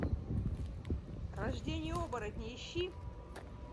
рождение оборотня ищи